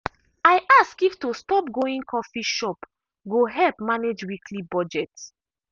i ask if to stop going coffee shop go help manage weekly budget.